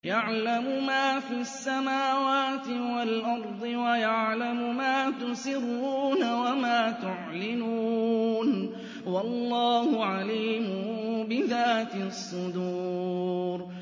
يَعْلَمُ مَا فِي السَّمَاوَاتِ وَالْأَرْضِ وَيَعْلَمُ مَا تُسِرُّونَ وَمَا تُعْلِنُونَ ۚ وَاللَّهُ عَلِيمٌ بِذَاتِ الصُّدُورِ